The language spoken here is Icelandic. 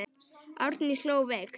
Arndís hló veikt.